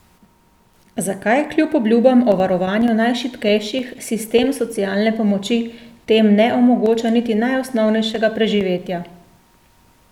Zakaj kljub obljubam o varovanju najšibkejših sistem socialne pomoči tem ne omogoča niti najosnovnejšega preživetja?